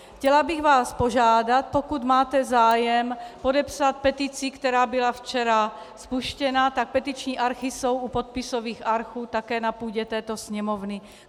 Chtěla bych vás požádat, pokud máte zájem podepsat petici, která byla včera spuštěna, tak petiční archy jsou u podpisových archů také na půdě této sněmovny.